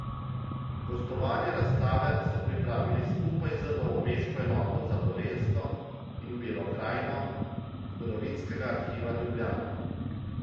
Gostovanje razstave so pripravili skupaj z novomeško Enoto za Dolenjsko in Belo krajino Zgodovinskega arhiva Ljubljana.